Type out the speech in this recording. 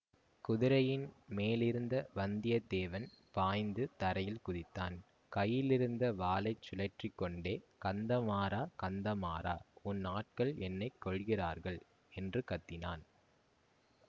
குதிரையின் மேலிருந்த வந்தியத்தேவன் பாய்ந்து தரையில் குதித்தான் கையிலிருந்த வாளை சுழற்றிக் கொண்டே கந்தமாறா கந்தமாறா உன் ஆட்கள் என்னை கொல்லுகிறார்கள் என்று கத்தினான்